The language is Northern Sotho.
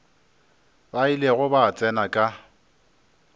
ba ilego ba tsena ka